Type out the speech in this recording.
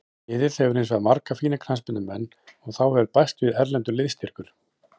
Liðið hefur hinsvegar marga fína knattspyrnumenn og þá hefur bæst við erlendur liðsstyrkur.